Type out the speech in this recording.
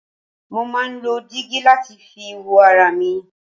Mo máà ń lo dígí láti fi wo ara mi.